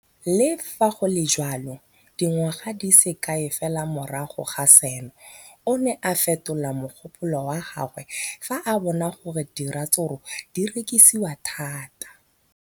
Le fa go le jalo, dingwaga di se kae fela morago ga seno, o ne a fetola mogopolo wa gagwe fa a bona gore diratsuru di rekisiwa thata.